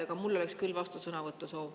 Aga mul oleks küll vastusõnavõtu soov.